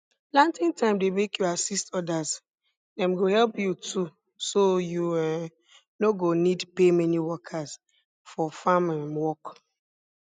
planting time dey make you assist others dem go help you too so you um no go need pay many workers for farm um work